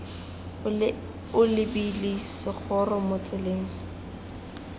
o lebile segoro mo tseleng